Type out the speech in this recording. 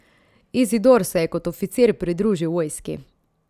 Izidor se je kot oficir pridružil vojski.